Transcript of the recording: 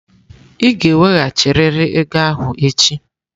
Ị ga-eweghachirịrị ego ahụ echi!